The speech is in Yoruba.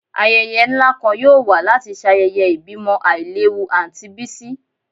Ayẹyẹ nla kan yoo wa lati ṣayẹyẹ ibimo ailewu Aunty Bisi